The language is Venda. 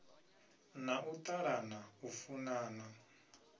na u ṱalana u funana